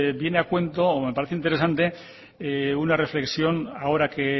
viene a cuento o me parece interesante que una reflexión ahora que